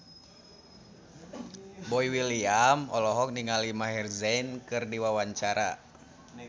Boy William olohok ningali Maher Zein keur diwawancara